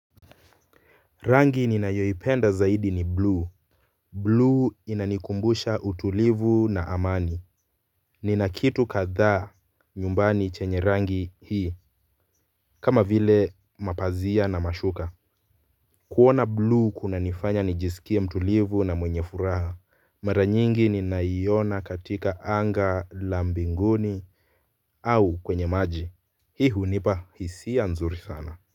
Rangi ninayoipenda zaidi ni blue. Blue inanikumbusha utulivu na amani. Nina kitu kadhaa nyumbani chenye rangi hii kama vile mapazia na mashuka. Kuona blue kunanifanya nijisikie mtulivu na mwenye furaha. Mara nyingi ninaiona katika anga la mbinguni au kwenye maji. Hii hunipa hisia nzuri sana.